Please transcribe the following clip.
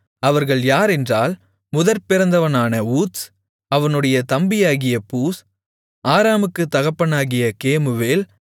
அவர்கள் யாரென்றால் முதற்பிறந்தவனான ஊத்ஸ் அவனுடைய தம்பியாகிய பூஸ் ஆராமுக்குத் தகப்பனாகிய கேமுவேல்